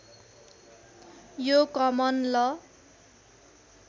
यो कमन ल